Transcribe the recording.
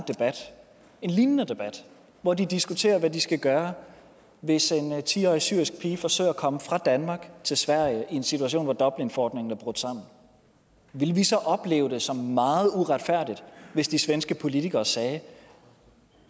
en lignende debat hvor de diskuterer hvad de skal gøre hvis en ti årig syrisk pige forsøger at komme fra danmark til sverige i en situation hvor dublinforordningen er brudt sammen ville vi så opleve det som meget uretfærdigt hvis de svenske politikere sagde